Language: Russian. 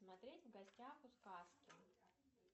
смотреть в гостях у сказки